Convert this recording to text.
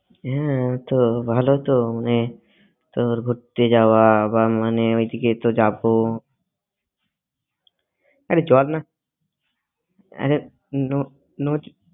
হ্যাঁ তো ভালো তো মানে তোর ঘুরতে যাওয়া বা মানে ওই দিকে তো যাব আরে চল না আরে ন ন